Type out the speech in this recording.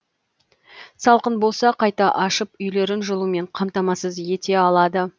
салқын болса қайта ашып үйлерін жылумен қамтамасыз ете алады